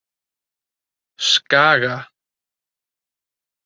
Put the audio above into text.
Skaga